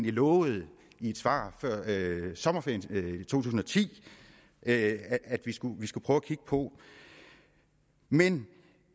lovede i et svar før sommerferien to tusind og ti at at vi skulle vi skulle prøve at kigge på men